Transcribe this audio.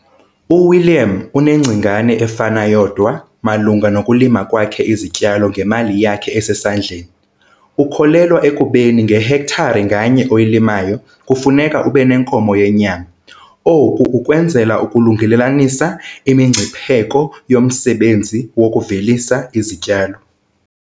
UWilliam unengcingane efana yodwa malunga nokulima kwakhe izityalo ngemali yakhe esesandleni. Ukholelwa ekubeni ngehektare nganye oyilimayo kufuneka ube nenkomo yenyama - oku ukwenzela ukulungelelanisa imingcipheko yomsebenzi wokuvelisa izityalo.